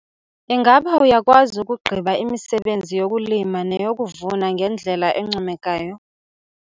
Ingaba uyakwazi ukugqiba imisebenzi yokulima neyokuvuna ngendlela encomekayo?